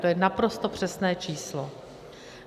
To je naprosto přesné číslo.